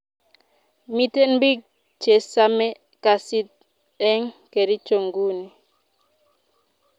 Miten pik che same kasit en kericho nguni